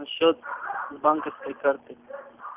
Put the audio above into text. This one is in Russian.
на счёт банковской карты